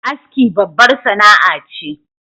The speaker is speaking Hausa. Aski babbar sana'a ce